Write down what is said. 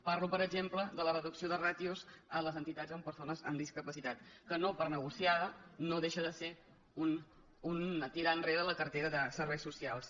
parlo per exemple de la reducció de ràtios a les entitats amb persones amb discapacitat que no per negociada no deixa de ser un tirar enrere la cartera de serveis socials